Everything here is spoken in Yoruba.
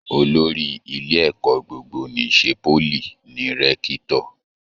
Olórí ilé ẹ̀kọ́ gbogbo n'isè poly ní Rẹ̀kitọ́.